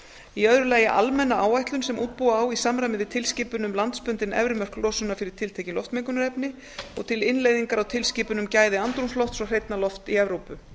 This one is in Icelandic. í öðru lagi almenna áætlun sem útbúa á í samræmi við tilskipun um landsbundin efri mörk losunar fyrir tiltekið loftmengunarefni og til innleiðingar á tilskipun um gæði andrúmslofts og hreinna lofts í evrópu